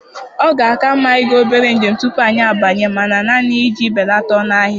Ọ ga-aka mma ịga obere njem tupu anyị abanye mana, naanị iji belata ọnụ ahịa.